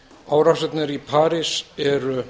árásirnar í parís eru